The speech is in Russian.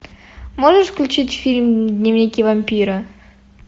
можешь включить фильм дневники вампира